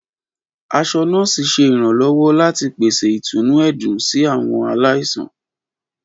Aṣọ nọ́ọ̀sí ṣe iranlọwọ lati pese itunu ẹdun si awọn alaisan.